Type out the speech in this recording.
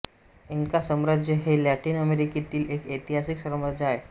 Inca साम्राज्य हे Latin अमेरिकेतील एक ऐतिहासिक साम्राज्य होते